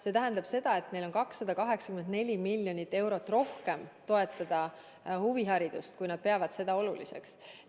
See tähendab seda, et neil on 284 miljonit eurot rohkem, millega toetada ka huviharidust, kui nad peavad seda oluliseks.